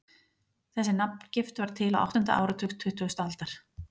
Þessi nafngift varð til á áttunda áratug tuttugustu aldar.